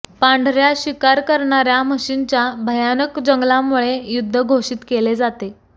पांढर्या शिकार करणार्या म्हशींच्या भयानक जंगलामुळे युद्ध घोषित केले जाते